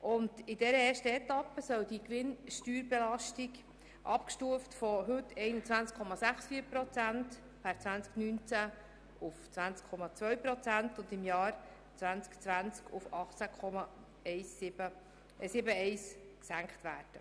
In der ersten Etappe soll die Gewinnsteuerbelastung abgestuft von heute 21,64 Prozent per 2019 auf 20,2 Prozent und im Jahr 2020 auf 18,71 Prozent gesenkt werden.